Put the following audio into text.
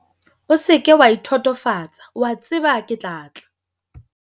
O se ke wa ithotofatsa, o a tseba ke tla tla!